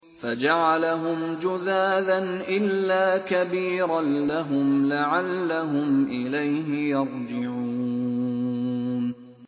فَجَعَلَهُمْ جُذَاذًا إِلَّا كَبِيرًا لَّهُمْ لَعَلَّهُمْ إِلَيْهِ يَرْجِعُونَ